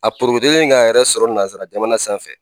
A porokotolen ka yɛrɛ sɔrɔ nanzara jamana sanfɛ